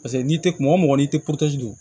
Paseke n'i tɛ mɔgɔ mɔgɔ n'i tɛ don